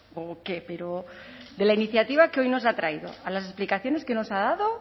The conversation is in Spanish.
o qué pero de la iniciativa que hoy nos ha traído a las explicaciones que nos ha dado